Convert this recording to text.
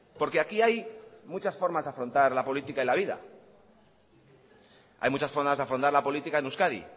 porque aquí hay muchas formas de afrontar la política en la vida hay muchas formas de afrontar la política en euskadi